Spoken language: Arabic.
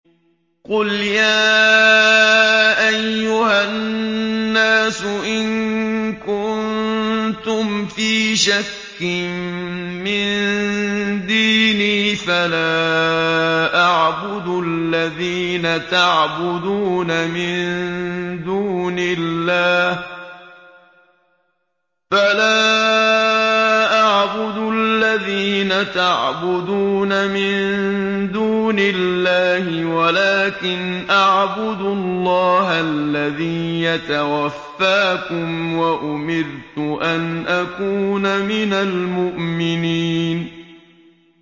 قُلْ يَا أَيُّهَا النَّاسُ إِن كُنتُمْ فِي شَكٍّ مِّن دِينِي فَلَا أَعْبُدُ الَّذِينَ تَعْبُدُونَ مِن دُونِ اللَّهِ وَلَٰكِنْ أَعْبُدُ اللَّهَ الَّذِي يَتَوَفَّاكُمْ ۖ وَأُمِرْتُ أَنْ أَكُونَ مِنَ الْمُؤْمِنِينَ